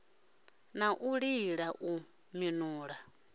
na u lila u minula